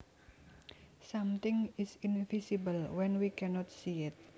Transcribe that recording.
Something is invisible when we can not see it